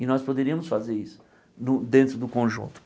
E nós poderíamos fazer isso no dentro do conjunto.